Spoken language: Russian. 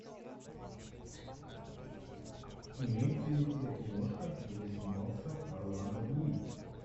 имеется ли у тебя киношка где снимался орландо блум